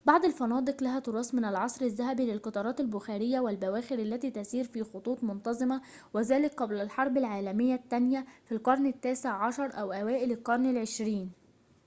بعض الفنادق لها تراث من العصر الذهبي للقطارات البخارية والبواخر التي تسير في خطوط منتظمة وذلك قبل الحرب العالمية الثانية في القرن التاسع عشر أو أوائل القرن العشرين